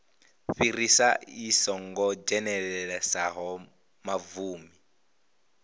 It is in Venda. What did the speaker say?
fhirisa i songo dzhenelelesaho mavuni